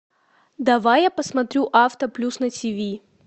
давай я посмотрю авто плюс на тиви